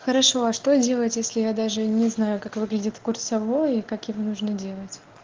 хорошо что делать если я даже не знаю как выглядит курсовой и как его нужно делать